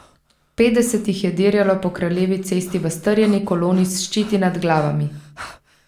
Petdeset jih je dirjalo po kraljevi cesti v strjeni koloni s ščiti nad glavami.